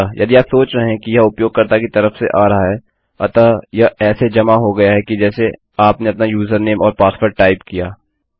अतः यदि आप सोच रहे हैं कि यह उपयोगकर्ता की तरफ से आ रहा है अतः यह ऐसे जमा हो गया कि जैसे आपने अपना यूजरनेम और पासवर्ड टाइप किया